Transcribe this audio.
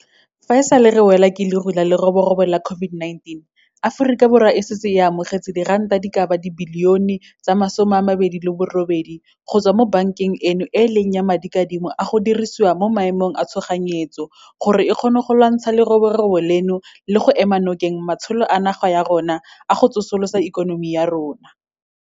Fa e sale re welwa ke leru la leroborobo la COVID-19, Aforika Borwa e setse e amogetse diranta di ka ba 28 billione go tswa mo bankeng eno e e leng ya Madikadimo a go Dirisiwa mo Maemong a Tshoganyetso gore e kgone go lwantshana le leroborobo leno le go ema nokeng matsholo a naga ya rona a go tsosolosa ikonomi ya rona.